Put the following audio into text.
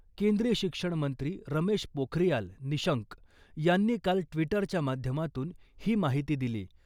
केंद्रीय शिक्षणमंत्री रमेश पोखरियाल निशंक यांनी काल ट्विटरच्या माध्यमातून ही माहिती दिली .